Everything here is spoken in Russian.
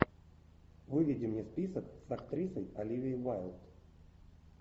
выведи мне список с актрисой оливией уайлд